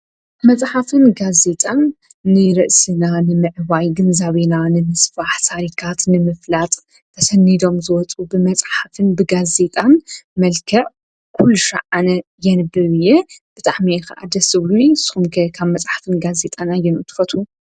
ንርእስና ንምዕባይ ግንዛቤና ታሪካት ንምፍላጥ ብመፅሓፍን ብጋዜጣን ኩልሻዕ አነ የንብብ እየ ።